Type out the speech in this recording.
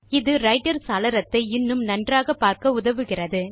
இது ரைட்டர் சாளரத்தை இன்னும் நன்றாக பார்க்க உதவுகிறது